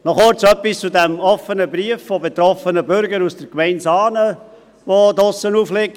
Noch kurz etwas zu diesem offenen Brief von betroffenen Bürgern aus der Gemeinde Saanen, der draussen aufliegt.